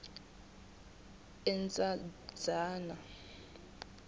endzambyana